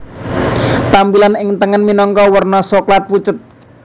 Tampilan ing tengen minangka werna Soklat pucet